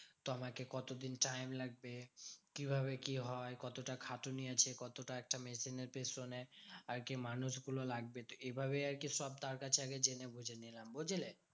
তো আমাকে কতদিন time লাগবে? কিভাবে কি হয়? কতটা খাটুনি আছে? কতটা একটা machine এর পেছনে আর কি মানুষগুলো লাগবে? তো এইভাবেই আরকি সব তার কাছে আগে জেনে বুঝে নিলাম, বুঝলে?